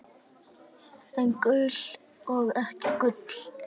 En gul og ekki gul.